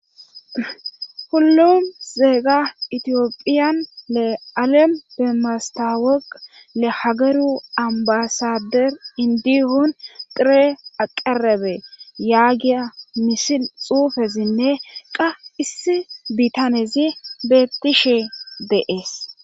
Hullum zeega itiyophiyan le alem bemastaweq le hageru ambasader indihun tire aqarabe yaagiya misil xuufesinne qa issi bitanezi bettishe deees.